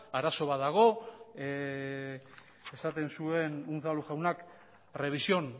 arazo bat dagoela esaten zuen unzalu jaunak revisión